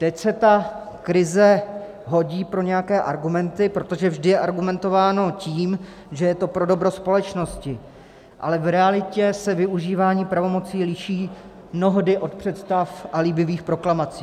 Teď se ta krize hodí pro nějaké argumenty, protože vždy je argumentováno tím, že je to pro dobro společnosti, ale v realitě se využívání pravomocí liší mnohdy od představ a líbivých proklamací.